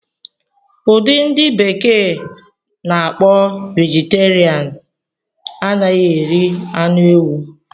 Udi ndi bekee n'akpo Vegeterian anaghị eri anụ ewu